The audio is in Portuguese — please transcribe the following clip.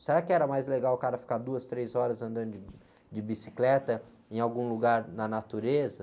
Será que era mais legal o cara ficar duas, três horas andando de, de bicicleta em algum lugar na natureza?